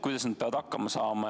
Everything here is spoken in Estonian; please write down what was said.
Kuidas nad peavad hakkama saama?